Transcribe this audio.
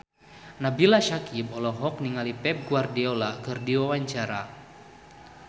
Nabila Syakieb olohok ningali Pep Guardiola keur diwawancara